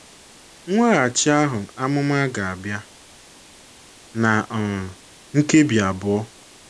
Mweghachi ahụ ’amụma ga - abịa ná um nkebi abụọ.